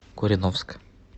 кореновск